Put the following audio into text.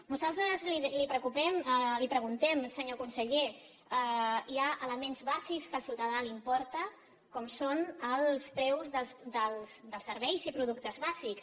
nosaltres li preguntem senyor conseller hi ha elements bàsics que al ciutadà li importen com són els preus dels serveis i productes bàsics